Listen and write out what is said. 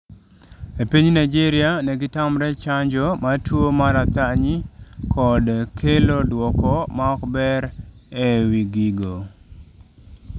E piny Nigeria negitamre chanjo mar tuwo mar athany kod kelo dwoko maok ber e w gigo